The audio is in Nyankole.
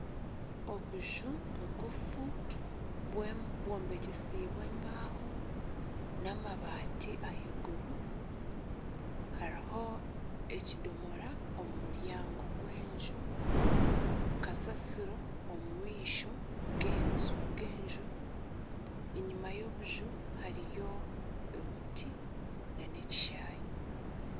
Obuju bugufu bwombekisibwe embaho, n'amabati ahaiguru hariho ekidomora omu muryango gw'enju, kasaasiro omu maisho g'enju, enyima y'obuju hariyo obuti nana ekishanyi